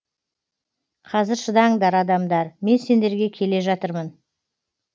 қазір шыдаңдар адамдар мен сендерге келе жатырмын